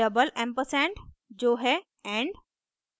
double ampersand && जो है and